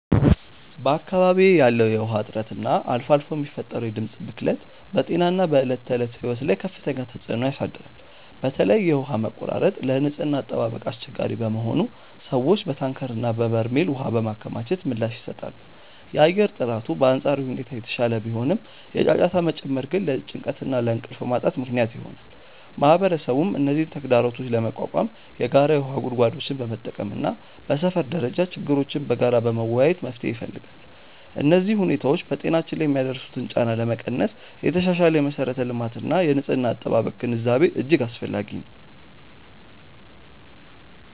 በአካባቢዬ ያለው የውሃ እጥረት እና አልፎ አልፎ የሚፈጠረው የድምፅ ብክለት በጤናና በዕለት ተዕለት ሕይወት ላይ ከፍተኛ ተጽዕኖ ያሳድራል። በተለይ የውሃ መቆራረጥ ለንጽህና አጠባበቅ አስቸጋሪ በመሆኑ ሰዎች በታንከርና በበርሜል ውሃ በማከማቸት ምላሽ ይሰጣሉ። የአየር ጥራቱ በአንጻራዊ ሁኔታ የተሻለ ቢሆንም፣ የጫጫታ መጨመር ግን ለጭንቀትና ለእንቅልፍ ማጣት ምክንያት ይሆናል። ማህበረሰቡም እነዚህን ተግዳሮቶች ለመቋቋም የጋራ የውሃ ጉድጓዶችን በመጠቀምና በሰፈር ደረጃ ችግሮችን በጋራ በመወያየት መፍትሄ ይፈልጋል። እነዚህ ሁኔታዎች በጤናችን ላይ የሚያደርሱትን ጫና ለመቀነስ የተሻሻለ የመሠረተ ልማትና የንጽህና አጠባበቅ ግንዛቤ እጅግ አስፈላጊ ነው።